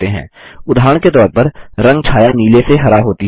उदाहरण के तौर पर रंग छाया नीले से हरा होती है